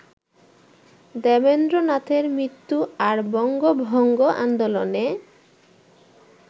দেবেন্দ্রনাথের মৃত্যু আর বঙ্গভঙ্গ আন্দোলনে